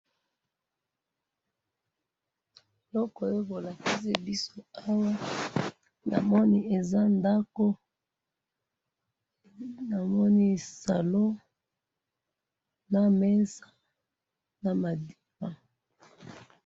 eloko oyo bolakisi biso awa namoni eza ndaku namoni salon na mesa naba divan